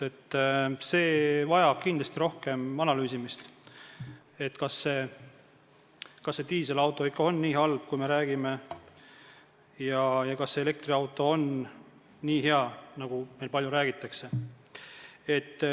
See vajab kindlasti rohkem analüüsimist, kas diiselauto ikka on nii halb, kui me räägime, ja kas elektriauto on nii hea, nagu meil palju räägitakse.